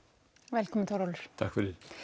velkominn Þórólfur takk